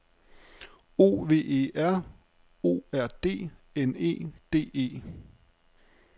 O V E R O R D N E D E